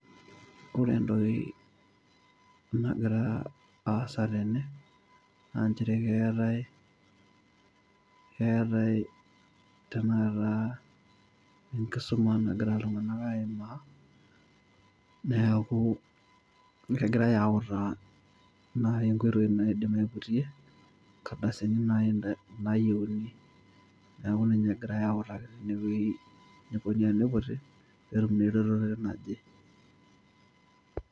ore entoki nagira aasa tene, naa nchere keetae keetae enkisuma tenakata nagira iltunganak aimaa neeku kegirae autaa naai nkoitoi naidim aiputie nkardasini naayiuni. neeku ninche egirae autaki eneikoni teneiputi peetum eretoto naje.